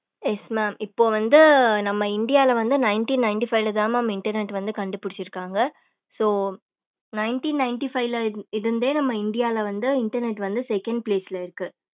yes mam இப்ப வந்து நம்ம இந்தியால வந்து nineteen ninty five ல தான் internet வந்து கண்டுபிடிச்சுருக்காங்க so nineteen nity five ல இருந்தே நம்ம இந்தியால வந்து internet வந்து second place ல இருக்கு